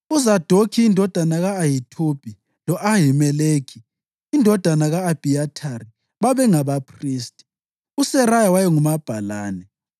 uZadokhi indodana ka-Ahithubi lo-Ahimeleki indodana ka-Abhiyathari babengabaphristi; uSeraya wayengumabhalane;